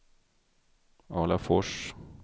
Alafors